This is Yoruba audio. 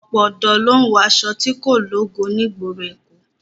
Ọ̀pọ̀ ọ̀dọ́ ló ń wọṣọ tí kò lógo ní ìgboro èkó